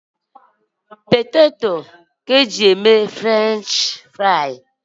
Potato ka eji e mee Frenchifrii